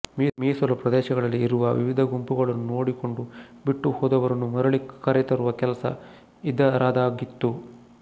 ಮೀಸಲು ಪ್ರದೇಶಗಳಲ್ಲಿ ಇರುವ ವಿವಿಧ ಗುಂಪುಗಳನ್ನು ನೋಡಿಕೊಂಡು ಬಿಟ್ಟು ಹೋದವರನ್ನು ಮರಳಿ ಕರೆತರುವ ಕೆಲಸ ಇದರದಾಗಿತ್ತು